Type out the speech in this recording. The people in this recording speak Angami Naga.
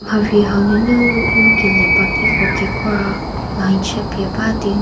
mharhi hau nunu ngu kelie bagiko kekra line chü pie ba di ngu.